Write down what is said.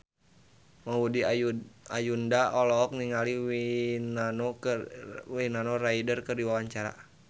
Maudy Ayunda olohok ningali Winona Ryder keur diwawancara